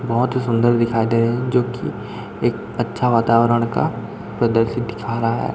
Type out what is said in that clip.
बहोत हि सुंदर दिखाई दे रहे हैं जोकि एक अच्छा वातावरण का प्रदर्शित दिखा रहा है।